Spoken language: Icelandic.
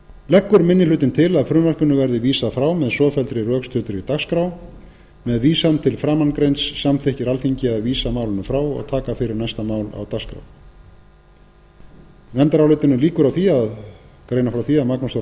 leggur minni hlutinn til að frumvarpinu verði vísað frá með svofelldri rökstuddri dagskrá með vísan til framangreinds samþykkir alþingi að vísa málinu frá og taka fyrir næsta mál á dagskrá nefndarálitinu lýkur á því að greina frá því að magnús þór